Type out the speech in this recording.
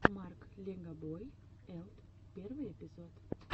марк легобой элт первый эпизод